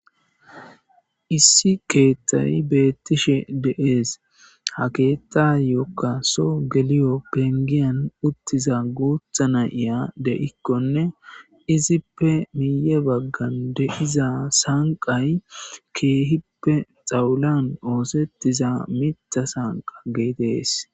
issi keethtay beettishe deees ha keettayokka so geliyo pengiyan uttiza guutha na7iya de7ikkonne izippe miye baggan de7iza sanqay keehippe xawulan oosettiza mita sanqa geetees